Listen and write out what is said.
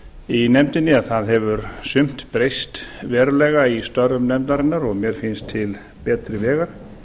í nefndinni að það hefur sumt breyst verulega í störfum nefndarinnar og mér finnst til betri vegar